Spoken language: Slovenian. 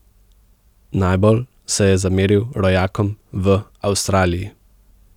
Najbolj se je zameril rojakom v Avstraliji.